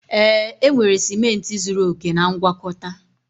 Ee, enwere ciment zuru oke na ngwakọta